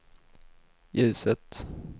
ljuset